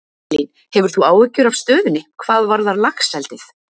Elín: Hefur þú áhyggjur af stöðunni, hvað varðar laxeldið?